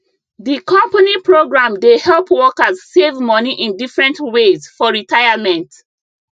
the company program dey help workers save money in different ways for retirement